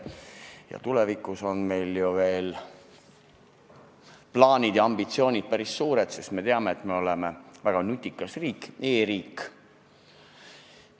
Ja tulevikuks on meil ju plaanid ja ambitsioonid päris suured, sest me teame, et Eesti on väga nutikas riik, e-riik.